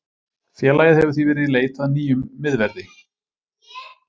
Félagið hefur því verið í í leit að nýjum miðverði.